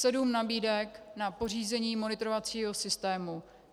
Sedm nabídek na pořízení monitorovacího systému.